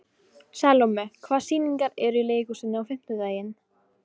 Salome, hvaða sýningar eru í leikhúsinu á fimmtudaginn?